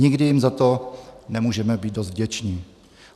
Nikdy jim za to nemůžeme být dost vděční.